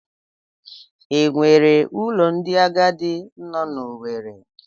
E nwere ụlọ ndị agadi nọ n'Owere?